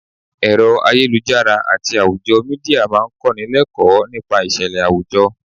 Ẹ̀rọ ayélujára àti àwùjọ Mídíà máa ń kó ni l'ekoo nípa ìṣẹ̀lẹ̀ àwùjọ.